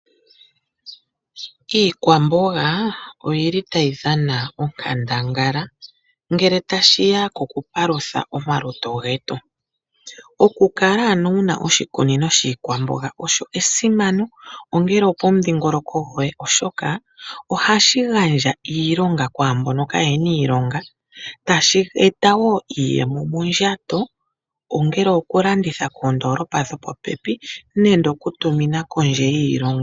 Iikwamboga oyili tayi dhana onkandangala ngele ta shiya koku palutha omalutu getu. Oku kala ano wuna oshikunino shiikwamboga osho esimano, ongele opomudhingoloko goye, oshoka ohashi gandja iilonga kwaambono kaayena iilonga, tashi eta wo iiyemo mondjato, ongele oku landitha kondoolopa dho popepi nenge oku tumina kondje yiilongo.